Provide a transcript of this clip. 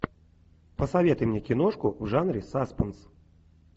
посоветуй мне киношку в жанре саспенс